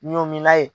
Ɲɔmina ye